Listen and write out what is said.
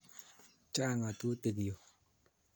Chang' ng'atutik yu